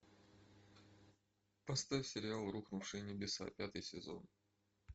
поставь сериал рухнувшие небеса пятый сезон